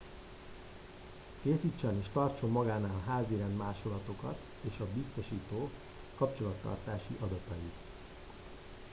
készítsen és tartson magánál házirend másolatokat és a biztosító kapcsolattartási adatait